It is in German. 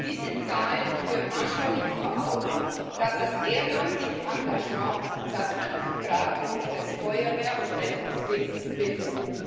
Diese Zahlen führen anschaulich vor Augen, dass das ehrenamtliche Engagement das Rückgrat unseres Feuerwehr und Rettungswesens bildet.